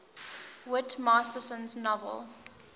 whit masterson's novel